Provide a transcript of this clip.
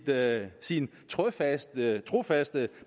med sin trofaste trofaste